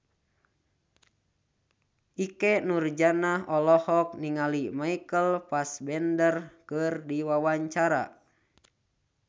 Ikke Nurjanah olohok ningali Michael Fassbender keur diwawancara